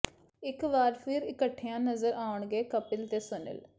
ਇਕ ਵਾਰ ਫ਼ਿਰ ਇਕੱਠਿਆਂ ਨਜ਼ਰ ਆਉਣਗੇ ਕਪਿਲ ਤੇ ਸੁਨੀਲ